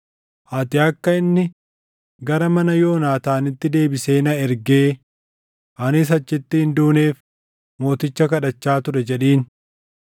‘Ani akka inni gara mana Yoonaataanitti deebisee na ergee anis achitti hin duuneef mooticha kadhachaa ture’ jedhiin.”